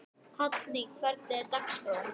Hallný, hvernig er dagskráin?